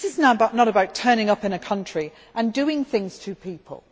This is not about turning up in a country and doing things to people.